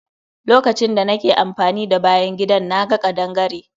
Lokacin da nake amfani da bayan gidan, na ga kaɗangare.